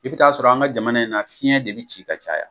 I be t'a sɔrɔ an ka jamana in na fiɲɛn de be bi ci ka caya